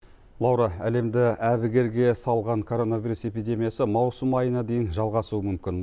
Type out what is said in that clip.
лаура әлемді әбігерге салған коронавирус эпидемиясы маусым айына дейін жалғасуы мүмкін